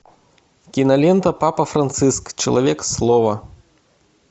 кинолента папа франциск человек слова